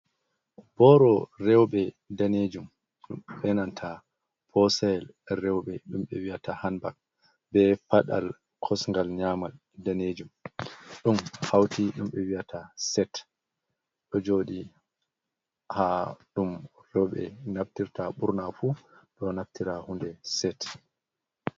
Boro rewɓe danejum e'nanta posayel rewɓe ɗum ɓe wi'ata hanbag, be faɗal kosgal nyamal danejum ɗum hauti ɗum ɓe wi'ata set. Ɗo joɗi ha ɗum rewɓe naftirta ɓurna fu ɗo naftira hunde set.